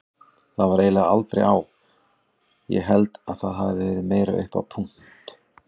Það var eiginlega aldrei á, ég held það hafi verið meira upp á punt.